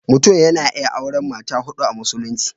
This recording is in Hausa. Mutum yana iya auren mata huɗu a Musulunci.